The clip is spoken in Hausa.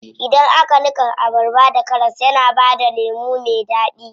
Idan aka niƙa abarba da karas yana bada lemu me daɗi.